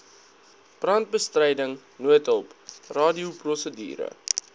brandbestryding noodhulp radioprosedure